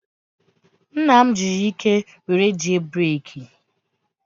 Nna m jiri ike were jie breeki.